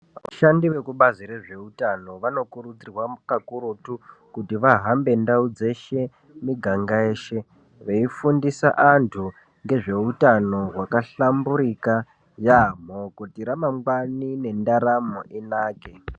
Vashandi vekubazi rezvehutano vanokurudzirwa kakurutu kuti vahambe ndau dzeshe miganga yeshe veifundisa antu ngezvehutano wakahlamburika yambo kuti ramangwani nendaramo inake.